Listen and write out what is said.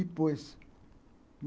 E pôs.